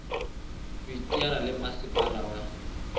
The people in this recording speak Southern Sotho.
ho iteanya le masepala wa